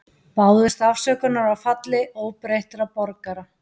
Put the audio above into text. Báðust afsökunar á falli óbreyttra borgara